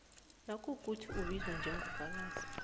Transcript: nayikuthi ubizwa njengofakazi